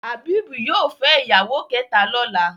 Habib yóò fè ìyàwó kéta lọla.